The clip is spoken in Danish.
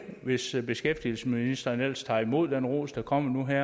hvis beskæftigelsesministeren ellers tager imod den ros der kommer nu her